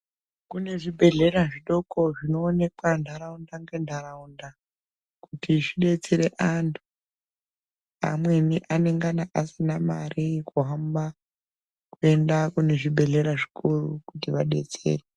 Kune zvibhedhlera zvidoko zvinoonekwa ndaraunda ngendaraunda kuti zvidetsera antu amweni anenge asina mare yekuhamba kuenda kuzvibhedhlera zvikuru kuti vadetserwe.